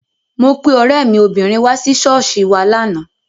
Mo pe ọ̀rẹ́ mi obìnrin wá sí ṣọ́ọ̀ṣì wa lánàá.